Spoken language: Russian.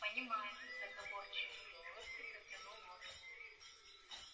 понима-аю с заговорщической улыбкой протянул он